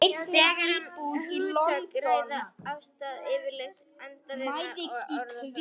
Þegar um efnisminni hugtök er að ræða er afstaðan yfirleitt einfaldari og orðafarið samstæðara.